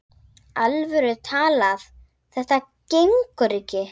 alvöru talað: þetta gengur ekki!